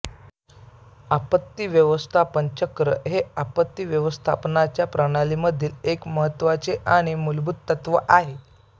आपत्ती व्यवस्थापन चक्र हे आपत्ती व्यवस्थापनाच्या प्रणालीमधील एक महत्त्वाचे आणि मूलभूत तत्त्व आहे